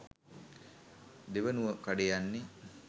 දෙවනුව කඩේ යන්නේ